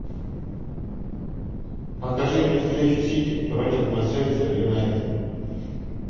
покажи мне встречу сити против манчестер юнайтед